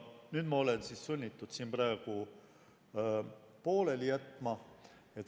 Nüüd ma olen sunnitud pooleli jätma.